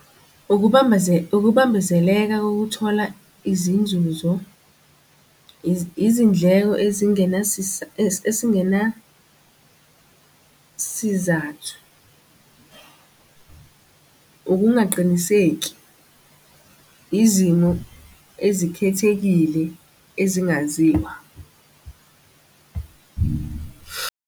Ukubambezeleka, kokuthola izinzuzo izindleko esingenasizathu. Ukungaqiniseki, izimo ezikhethekile ezingaziwa.